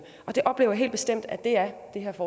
og jeg oplever helt bestemt at det er